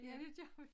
Ja det gør vi